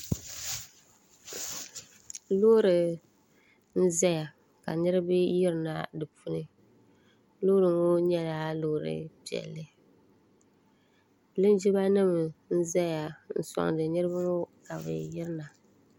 Loori n-zaya ka niriba yirina di puuni loori ŋɔ nyɛla loori piɛlli linjimanima n-zaya n-sɔŋdi niriba ka bɛ yirina.